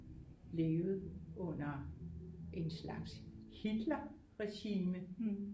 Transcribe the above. Levet under en slags Hitler regime